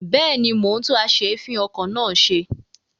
Bẹ́ẹ̀ni, mo ń tún as'èéfìn-okọ̀ náà ṣe.